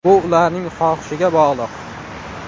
Bu ularning xohishiga bog‘liq.